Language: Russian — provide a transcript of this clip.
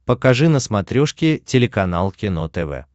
покажи на смотрешке телеканал кино тв